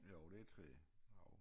Jo det træ jo